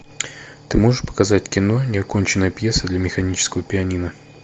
ты можешь показать кино неоконченная пьеса для механического пианино